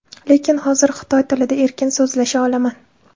Lekin hozir xitoy tilida erkin so‘zlasha olaman.